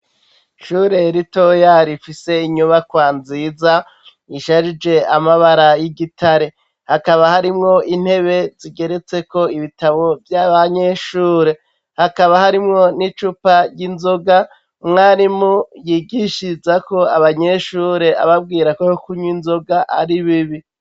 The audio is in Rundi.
Ishure ritoya rifise inyubakwa nziza isharije amabara y'igitare .Hakaba harimwo intebe zigeretse ko ibitabo vy'abanyeshure . Hakaba harimwo n'icupa ry'inzoga umwarimu yigishirizako abanyeshure ababwira ko yokunywa inzoga ari bibi.